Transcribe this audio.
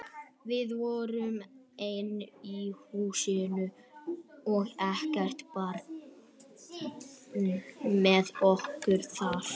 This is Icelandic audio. Við vorum ein í húsunum og ekkert barn með okkur þar.